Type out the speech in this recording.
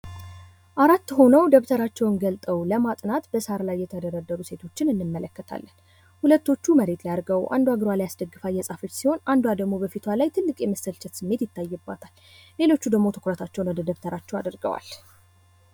አራት ሁነው ደብተራቸውን ገልጠው ለማጥናት በሳር ላይ የተደረደሩ ሴቶችን እንመለከታለን። ሁለቶቹ መሬት ላይ አድርገው አንዷ እግሯ ላይ አስደግፋ እየጻፈች ሲሆን አንዷ ደግሞ ከበፊቷ ትልቅ የመሰልቸት ስሜት ይታይባታል። ሌሎቹ ደግሞ ትኩረታቸውን ወደ ደብተራቸው አድረገዋል።